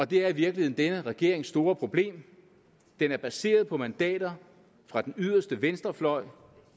det er i virkeligheden denne regerings store problem den er baseret på mandater fra den yderste venstrefløj